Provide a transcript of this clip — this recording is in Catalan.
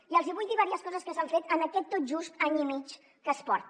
i els hi vull dir diverses coses que s’han fet en aquest tot just any i mig que es porta